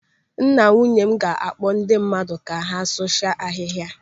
Nna nwunye m ga-akpọ ndị mmadụ ka asụcha ahihia a.